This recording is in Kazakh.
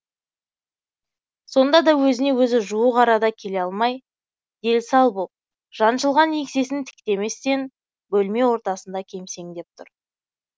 сонда да өзіне өзі жуық арада келе алмай дел сал боп жаншылған еңсесін тіктеместен бөлме ортасында кемсеңдеп тұр